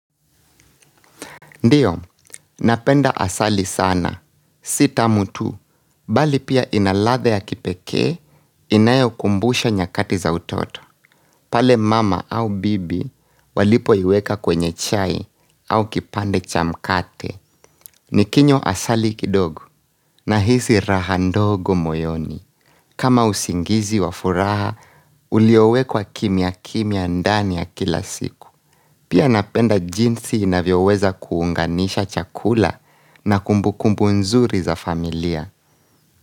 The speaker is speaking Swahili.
Ndio, napenda asali sana, si tamu tu, bali pia ina ladha ya kipekee, inayokumbusha nyakati za utoto pale mama au bibi walipoiweka kwenye chai au kipande cha mkate. Nikinywa asali kidogo nahisi raha ndogo moyoni kama usingizi wafuraha, ulio wekwa kimya kimya ndani ya kila siku Pia napenda jinsi inavyoweza kuunganisha chakula na kumbukumbu nzuri za familia.